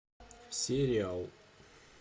сериал